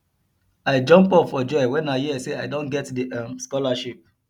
i jump up for joy wen i hear say i don get the um scholarship